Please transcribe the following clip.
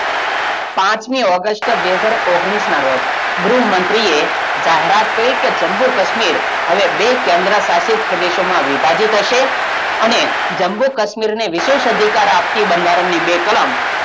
પાંચમી august બે હજાર ઓગણીસનાં રોજ ગૃહમંત્રીએ જાહેરાત કરી કે જમ્મુ - કાશ્મીર હવે બે કેન્દ્ર્શાસિત પ્રદેશોમાં વિભાજિત હશે અને જમ્મુ - કાશ્મીર ને વિશેષ અધિકાર આપતી બંધારણની બે કલમ,